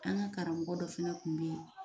An ga karamɔgɔ dɔ fɛnɛ kun be yen